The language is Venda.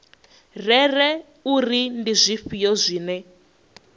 rere uri ndi zwifhio zwine